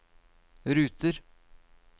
ruter